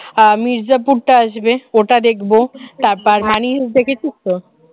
আহ মির্জাপুর টা আসবে ওটা দেখব তারপর money হায় দেখেছিস তো?